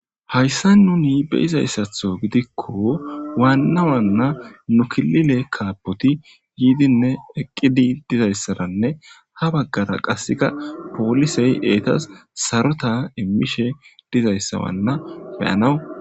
Haysan nuni beyizaysatho gidikon waana waana nu kilile kaapoti yidinne eqidi dizaysaranne ha Bagara qaseka poliseti etasi Sarota imishe dizaysa Wana beyanawu